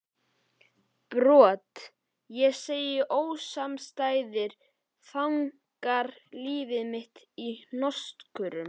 Brot, segi ég, ósamstæðir þankar líf mitt í hnotskurn?